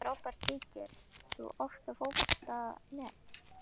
Frábær Kíkir þú oft á Fótbolti.net?